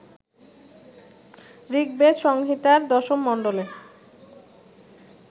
ঋগ্বেদসংহিতার ১০ম মণ্ডলে